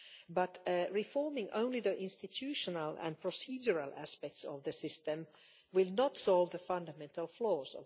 But reforming only the institutional and procedural aspects of the system will not solve its fundamental flaws.